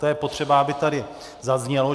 To je potřeba, aby tady zaznělo.